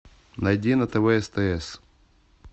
найди на тв стс